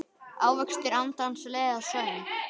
Ávextir andans leiða söng.